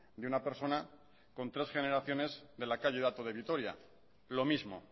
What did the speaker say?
de una persona con tres generaciones de la calle dato de vitoria lo mismo